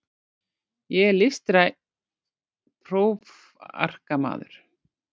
Ég er listrænn prófarkamaður.